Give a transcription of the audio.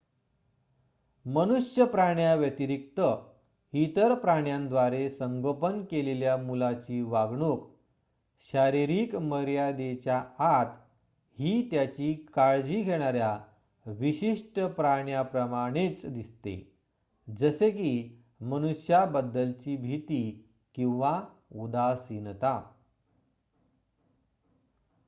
मनुष्यप्राण्या व्यतिरिक्त इतर प्राण्यांद्वारे संगोपन केलेल्या मुलाची वागणूक शारीरिक मर्यादेच्या आत ही त्याची काळजी घेणार्‍या विशिष्ट प्राण्याप्रमाणेच दिसते जसे की मनुष्यांबद्दलची भीती किंवा उदासीनता